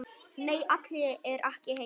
Nei, Alli er ekki heima.